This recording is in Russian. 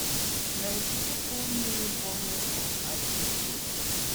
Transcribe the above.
найди помню не помню фул айч ди